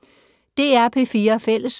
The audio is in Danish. DR P4 Fælles